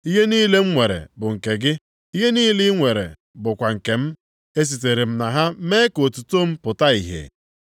Ihe niile m nwere bụ nke gị, ihe niile i nwere bụkwa nke m. E sitere na ha mee ka otuto m pụta ìhè.